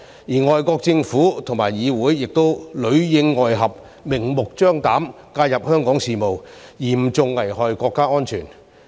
外國政府和議會亦裏應外合，明目張膽介入香港事務，嚴重危害國家安全。